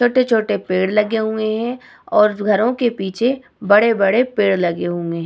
छोटे-छोटे पेड़ लगे हुए है और घरो के पीछे बड़े-बड़े पेड़ लगे हुए है ।